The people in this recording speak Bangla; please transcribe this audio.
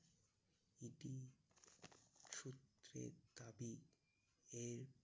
সূত্রের দাবি এই